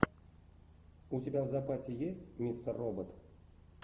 у тебя в запасе есть мистер робот